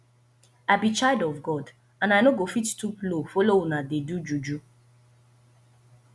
i be child of god and i no go fit stoop so low follow una dey do juju